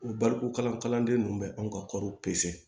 O baliku kalanden ninnu bɛ anw ka kɔɔriw pese